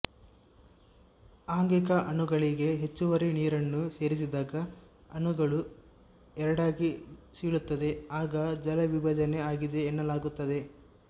ಆಂಗಿಕ ಅಣುಗಳಿಗೆ ಹೆಚ್ಚುವರಿ ನೀರನ್ನು ಸೇರಿಸಿದಾಗ ಅಣುಗಳು ಎರಡಾಗಿ ಸೀಳುತ್ತದೆ ಆಗ ಜಲವಿಭಜನೆ ಆಗಿದೆ ಎನ್ನಲಾಗುತ್ತದೆ